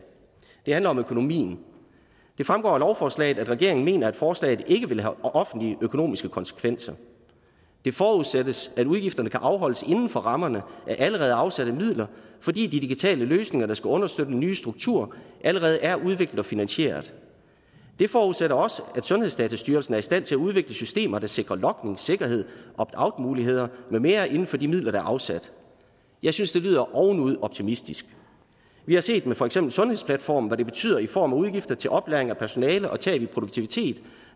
det handler om økonomien det fremgår af lovforslaget at regeringen mener at forslaget ikke vil have offentlige økonomiske konsekvenser det forudsættes at udgifterne kan afholdes inden for rammerne af allerede afsatte midler fordi de digitale løsninger der skal understøtte nye strukturer allerede er udviklet og finansieret det forudsætter også at sundhedsdatastyrelsen er i stand til at udvikle systemer der sikrer logningssikkerhed og opt out muligheder med mere inden for de midler der er afsat jeg synes det lyder ovenud optimistisk vi har set med for eksempel sundhedsplatformen hvad det betyder i form af udgifter til oplæring af personale og tab i produktivitet